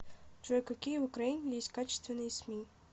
джой какие в украине есть качественные сми